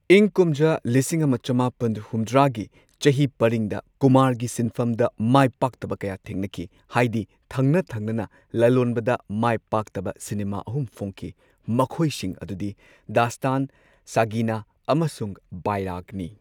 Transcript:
ꯢꯪ ꯀꯨꯝꯖꯥ ꯂꯤꯁꯤꯡ ꯑꯃ ꯆꯃꯥꯄꯟ ꯍꯨꯝꯗ꯭ꯔꯥꯒꯤ ꯆꯍꯤ ꯄꯔꯤꯡꯗ ꯀꯨꯃꯥꯔꯒꯤ ꯁꯤꯟꯐꯝꯗ ꯃꯥꯢꯄꯥꯛꯇꯕ ꯀꯌꯥ ꯊꯦꯡꯅꯈꯤ, ꯍꯥꯢꯗꯤ ꯊꯪꯅ ꯊꯪꯅꯅꯥ ꯂꯂꯣꯟꯕꯗ ꯃꯥꯢꯄꯥꯛꯇꯕ ꯁꯤꯅꯦꯃꯥ ꯑꯍꯨꯝ ꯐꯣꯡꯈꯤ, ꯃꯈꯣꯢꯁꯤꯡ ꯑꯗꯨꯗꯤ ꯗꯥꯁ꯭ꯇꯥꯟ, ꯁꯥꯒꯤꯅꯥ, ꯑꯃꯁꯨꯡ ꯕꯥꯏꯔꯥꯒ ꯅꯤ꯫